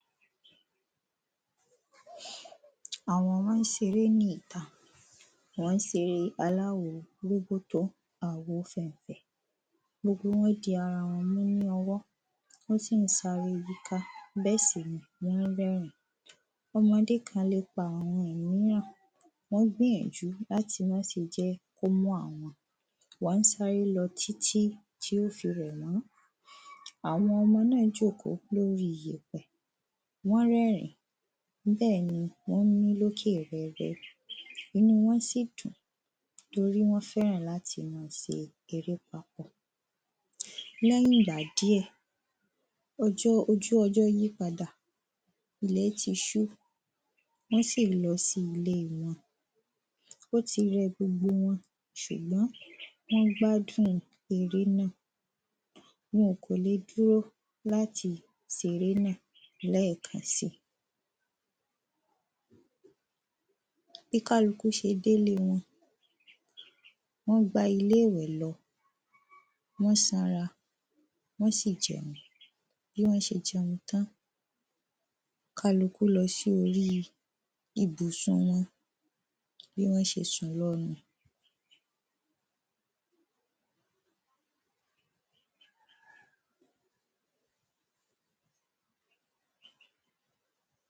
Àwọn ọmọ ń seré ní ìta wọ́n ń seré aláwo roboto àwo fẹ̀ǹfẹ̀ Gbogbo wọn di ara wọn mú ní ọwọ́ wọ́n sì ń sáré yíká bẹ́ẹ̀ sì ni wọ́n ń rẹ́rìn ín Ọmọdé kan le pa ìmíran wọ́n gbìyànjú láti máa se jẹ́ kí ó mú àwọn wá ń sáré lọ títí tí ó fi rẹ̀ wọ́n Àwọn ọmọ náà jókòó lórí ìyèpè wọ́n ń rẹ́rìn ín bẹ́ẹ̀ ni wọ́n ń mí lókè rẹ́rẹ́ inú wọn sì dùn torí wọ́n fẹ́ràn láti máa se erépá Lẹ́yìn ìgbà díẹ̀ ojú ọjọ́ yí padà ilẹ̀ ti ṣú wọ́n sì lọ sí ilé wọn Ó ti rẹ gbogbo wọn ṣùgbọ́n wọ́n gbádùn eré náà wọn kò le dúró láti se eré nàá lẹ́ẹ̀kan sí i Bí kálukú ṣe sé ilé wọn wọ́n gba ilé ìwé lọ wọ̀n sanra wọ́n sì jẹun Bí wọ́n ṣe jẹun tán kálukú lọ sí orí ìbùsùn wọn bí wọ́n ṣe sùn lọ nu